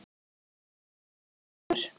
Hann fór seint að sofa kvöldið áður.